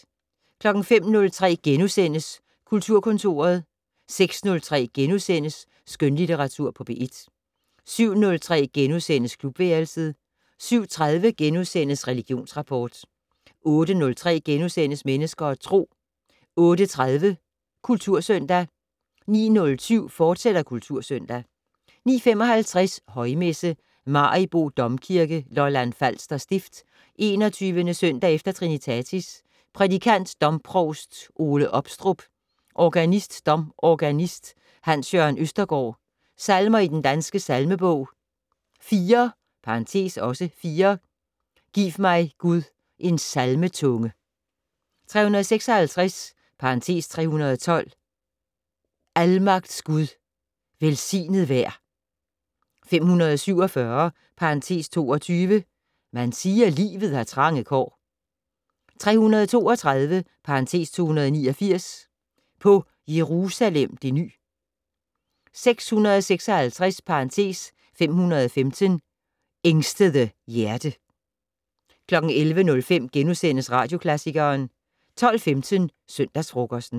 05:03: Kulturkontoret * 06:03: Skønlitteratur på P1 * 07:03: Klubværelset * 07:30: Religionsrapport * 08:03: Mennesker og Tro * 08:30: Kultursøndag 09:07: Kultursøndag, fortsat 09:55: Højmesse - Maribo Domkirke, Lolland Falster Stift. 21. søndag efter trinitatis. Prædikant: domprovst Ole Opstrup. Organist: domorganist Hans Jørgen Østergaard. Salmer i Den Danske Salmebog: 4 (4) "Giv mig, Gud, en salmetunge". 356 (312) "Almagts Gud, velsignet vær". 547 (22) "Man siger, livet har trange kår". 332 (289) "På Jerusalem det ny". 656 (515) "Ængstede hjerte". 11:05: Radioklassikeren * 12:15: Søndagsfrokosten